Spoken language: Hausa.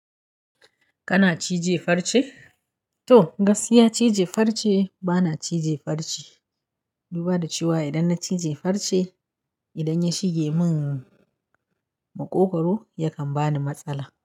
Kana cije farce? To, gaskiya cije farce bana cije farce. Duba da cewa idan na cije farce, idan ya shige min maƙogwaro yakan bani matsala.